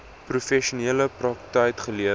professionele praktyk gelewer